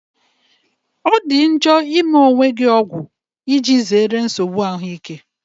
Ọ dị njọ ịme onwe gị ọgwụ, iji zere nsogbu ahụike.